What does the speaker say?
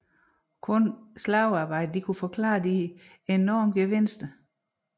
At kun slavearbejde kunne forklare de enorme gevinster